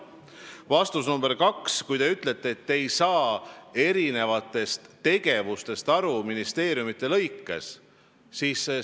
Küsimus nr 2, te ütlete, et te ei saa aru eri tegevustest ministeeriumide arvestuses.